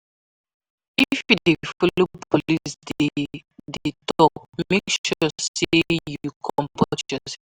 If you de follow police de de talk make sure say you comport yourself